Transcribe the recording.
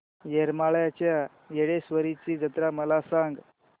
येरमाळ्याच्या येडेश्वरीची जत्रा मला सांग